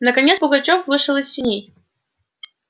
наконец пугачёв вышел из сеней